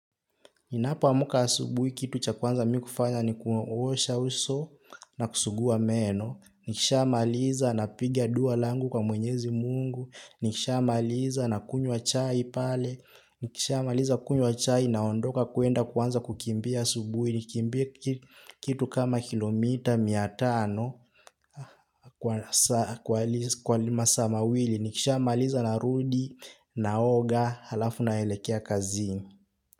Ninapoamka asubuhi kitu cha kwanza mi kufanya ni kuosha uso na kusugua meno. Nikishamaliza napiga dua langu kwa mwenyezi mungu. Nikishamaliza nakunywa chai pale. Nikishamaliza kunywa chai naondoka kwenda kuanza kukimbia asubuhi. Nikimbie kitu kama kilomita mia tano kwa masaa mawili. Nikishamaliza narudi naoga halafu naelekea kazini.